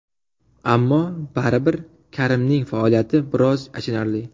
Ammo, baribir Karimning faoliyati biroz achinarli.